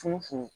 Funfun